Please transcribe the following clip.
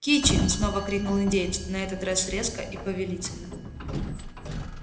кичи снова крикнул индеец на этот раз резко и повелительно